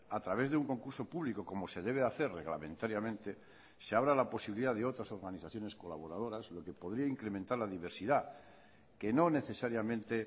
a través de un concurso público como se debe hacer reglamentariamente se abra la posibilidad de otras organizaciones colaboradoras lo que podría incrementar la diversidad que no necesariamente